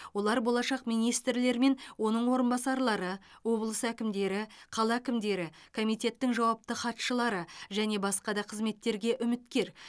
олар болашақ министрлер мен оның орынбасарлары облыс әкімдері қала әкімдері комитеттің жауапты хатшылары және басқа да қызметтерге үміткер